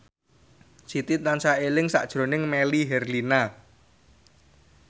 Siti tansah eling sakjroning Melly Herlina